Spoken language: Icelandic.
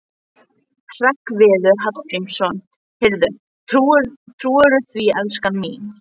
Hreggviður Hallgrímsson: Heyrðu, trúirðu því, elskan mín?